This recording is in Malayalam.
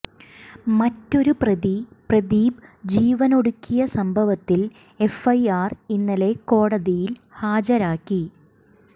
മറ്റൊരു പ്രതി പ്രദീപ് ജീവനൊടുക്കിയ സംഭവത്തിൽ എഫ്ഐആർ ഇന്നലെ കോടതിയിൽ ഹാജരാക്കി